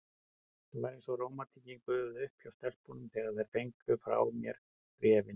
Það var eins og rómantíkin gufaði upp hjá stelpunum, þegar þær fengu frá mér bréfin.